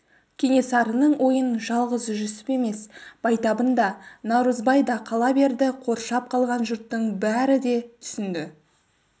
кенесарының ойын жалғыз жүсіп емес байтабын да наурызбай да қала берді қоршап тұрған жұрттың бәрі де түсінді